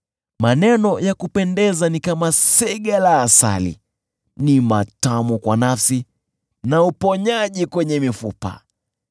Maneno ya kupendeza ni kama sega la asali, ni matamu kwa nafsi na uponyaji kwenye mifupa.